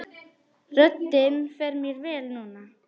Röddin fer mér vel núna.